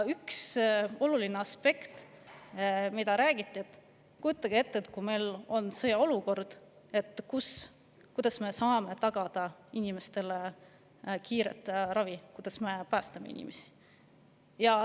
oluline aspekt, millest räägiti: kujutage ette, et meil on sõjaolukord – kuidas me saame siis tagada inimestele kiire ravi, kuidas me päästame inimesi?